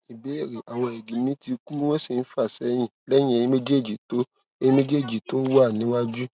ìbéèrè awon erigi mi ti ku won si n fasehin lẹyìn eyin méjèèjì tó eyin méjèèjì tó wà níwájú